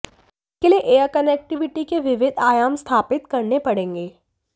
इसके लिए air connectivity के विविध आयाम स्थापित करने पड़ेंगे